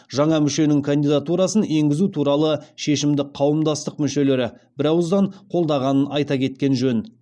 жаңа мүшенің кандидатурасын енгізу туралы шешімді қауымдастық мүшелері бірауыздан қолдағанын айта кеткен жөн